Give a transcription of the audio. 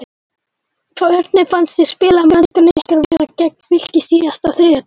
Hvernig fannst þér spilamennskan ykkar vera gegn Fylki síðasta þriðjudag?